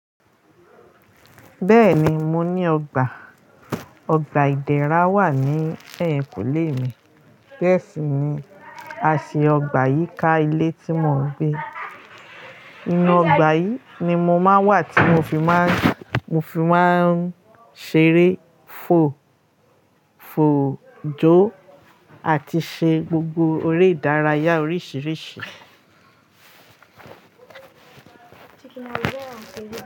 Bẹ́ẹ̀ni, mo ní ọgbà. Ọgbà ìdérá wà ní ẹ̀yìnkùlé mi. Bẹ́ẹ̀ sì ni, a ṣe ọgbà yí ká ilé tí mo ń gbé. Inú ọgbà yìí ni mo máa ń wà tí mo fi máa ń, mo fi máa ń ṣeré, fò, fò, jo àti ṣe gbogbo eré ìdárayá oríṣiríṣi.